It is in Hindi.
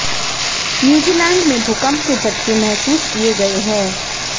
न्यूजीलैंड में भूकंप के झटके महसूस किए गए हैं